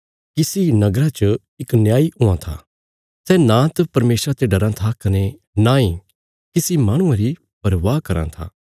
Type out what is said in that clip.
किसी नगरा च इक न्यायी हुआं था सै नांत परमेशरा ते डराँ था कने नांई किसी माहणुये री परवाह कराँ था